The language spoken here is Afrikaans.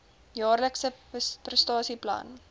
jaarlikse prestasie plan